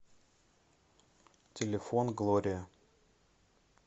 телефон глория